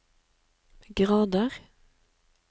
grader